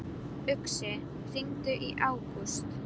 Uxi, hringdu í Ágúst.